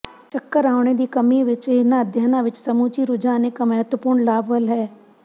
ਚੱਕਰ ਆਉਣੇ ਦੀ ਕਮੀ ਵਿੱਚ ਇਹਨਾਂ ਅਧਿਐਨਾਂ ਵਿੱਚ ਸਮੁੱਚੀ ਰੁਝਾਨ ਇੱਕ ਮਹੱਤਵਪੂਰਨ ਲਾਭ ਵੱਲ ਹੈ